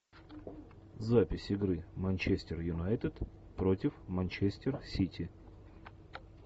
запись игры манчестер юнайтед против манчестер сити